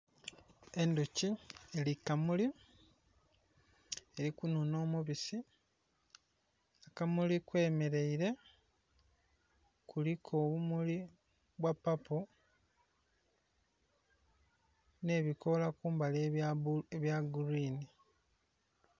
Endhuki eli ku kamuli eli kunhunha omubisi, ku kamuli kweyemeleire kuliku obumuli obwa papo nh'ebikoola kumbali ebya gurwini.